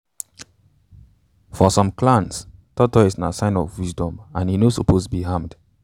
for some clans tortoise na sign of wisdom and e no suppose be harmed.